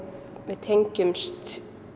við tengjumst